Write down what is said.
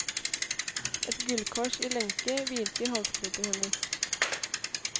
Et gullkors i lenke hvilte i halsgropen hennes.